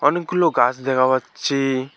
অনেকগুলো গাছ দেওহা আচ্ছে ।